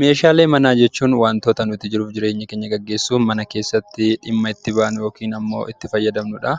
Meeshaalee manaa jechuun wantoota nuti jiruu fi jireenya keenya geggeessuuf mana keessatti dhimma itti baanu (itti fayyadamnu) dha.